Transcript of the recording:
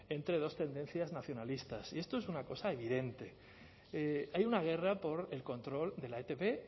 entre dos tendencias nacionalistas y esto es una cosa evidente hay una guerra por el control de la etb